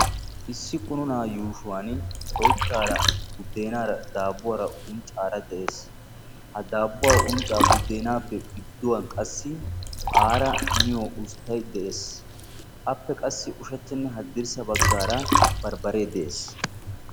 Issi qunuuna yushuuwaani oyttara, buddenaara, dabuuwaara unccara de'ees; ha dabuuwaa uncca buddenaappe gidduwan qassi araa miiyo usttay de'ees; appe qassi ushshachanne hadiirssa baggaara barbbare de'ees